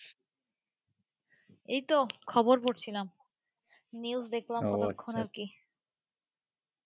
এইতো খবর পড়ছিলাম news দেখলাম আর কি,